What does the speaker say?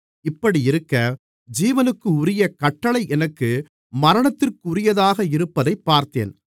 இப்படியிருக்க ஜீவனுக்குரிய கட்டளை எனக்கு மரணத்திற்குரியதாக இருப்பதைப் பார்த்தேன்